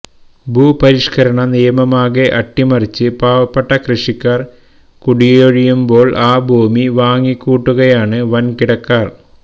ഭൂപരിഷ്കരണ നിയമമാകെ അട്ടിമറിച്ച് പാവപ്പെട്ട കൃഷിക്കാര് കുടിയൊഴിയുമ്പോള് ആ ഭൂമി വാങ്ങിക്കൂട്ടുകയാണ് വന്കിടക്കാര്